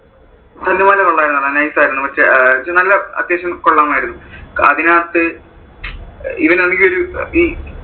തല്ലുമാല കൊള്ളായിരുന്നടാ. Nice ആരുന്നു നല്ല അത്യാവശ്യം കൊള്ളാമാരുന്നു. അതിനകത്ത് ഇവൻ ആണെങ്ങി ഒരു ഈ